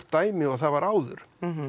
dæmi og það var áður